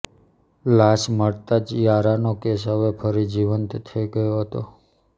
લાશ મળતાં જ યારાનો કેસ હવે ફરી જીવંત થઈ ગયો હતો